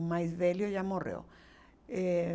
O mais velho já morreu, eh